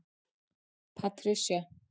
Patricia